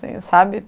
Sabe?